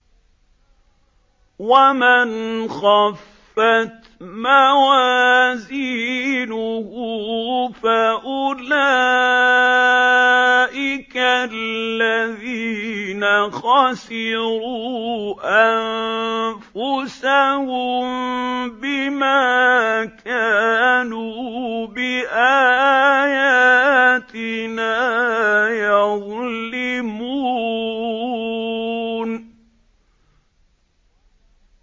وَمَنْ خَفَّتْ مَوَازِينُهُ فَأُولَٰئِكَ الَّذِينَ خَسِرُوا أَنفُسَهُم بِمَا كَانُوا بِآيَاتِنَا يَظْلِمُونَ